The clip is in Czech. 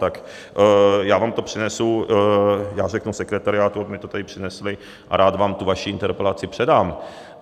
Tak já vám to přinesu, já řeknu sekretariátu, aby mi to tady přinesli, a rád vám tu vaši interpelaci předám.